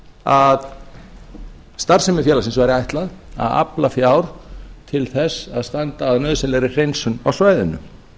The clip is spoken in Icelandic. að starfsemi félagsins væri ætlað að afla fjár til þess að standa að nauðsynlegri hreinsun á svæðinu